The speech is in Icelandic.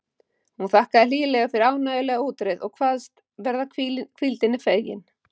Hún þakkaði hlýlega fyrir ánægjulega útreið og kvaðst vera hvíldinni fegin.